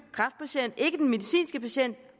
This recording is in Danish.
medicinske patient